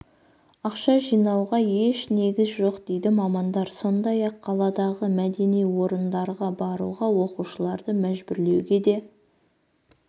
ақша жинауға еш негіз жоқ дейді мамандар сондай-ақ қаладағы мәдени орындарға баруға оқушыларды мәжбүрлеуге де